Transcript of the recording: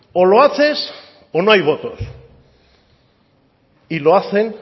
o lo haces o no hay votos y lo hacen